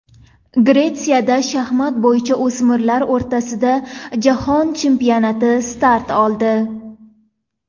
Gretsiyada shaxmat bo‘yicha o‘smirlar o‘rtasida jahon chempionati start oldi.